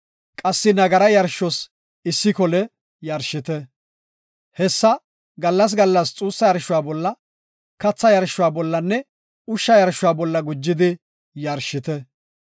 Qassi nagara yarshuwas issi kole yarshite. Hessi gallas gallas xuussa yarshuwa bolla, katha yarshuwa bollanne ushsha yarsho bolla gujidika yarshite.